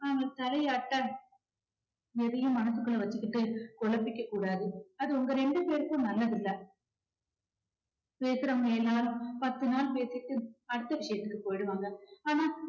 அவள் தலையாட்ட எதையும் மனசுக்குள்ள வச்சுக்கிட்டு குழப்பிக்ககூடாது அது உங்க ரெண்டு பேருக்கும் நல்லதில்ல பேசறவங்க எல்லாரும் பத்து நாள் பேசிட்டு அடுத்த விஷயத்துக்கு போயிடுவாங்க ஆனா